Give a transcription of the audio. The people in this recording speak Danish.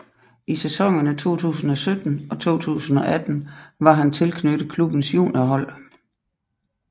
I sæsonerne 2017 og 2018 var han tilknyttet klubbens juniorhold